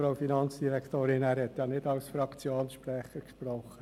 Grossrat Zaugg hat ja nicht als Fraktionssprecher gesprochen.